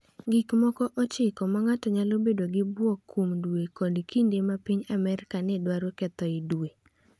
Gik moko 9 ma ng’ato nyalo bedo gi bwok kuom dwe kod kinde ma piny Amerka ne dwaro kethoe dwe